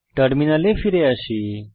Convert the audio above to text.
টার্মিনালে ফিরে আসি